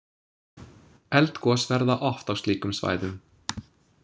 Eldgos verða oft á slíkum svæðum.